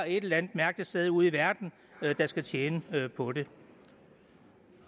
et eller andet mærkeligt sted ude i verden der skal tjene på det